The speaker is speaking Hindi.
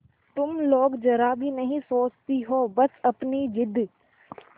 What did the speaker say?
तुम लोग जरा भी नहीं सोचती हो बस अपनी जिद